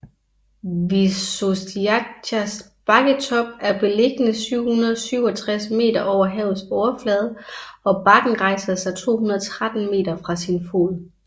Visočicas bakketop er beliggende 767 meter over havets overflade og bakken rejser sig 213 meter fra sin fod